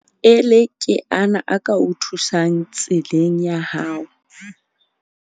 Maele ke ana a ka o thusang tseleng ya hao.